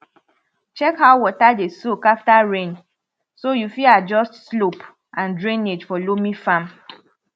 check how water dey soak after rain so you fit adjust slope and drainage for loamy farm